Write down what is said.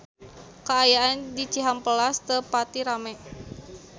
Kaayaan di Cihampelas teu pati rame